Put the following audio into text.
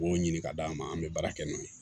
K'o ɲini k'a d'an ma an bɛ baara kɛ n'o ye